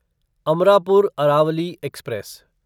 Amarapur Aravalli express